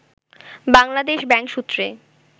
Bangladesh bank সূত্রে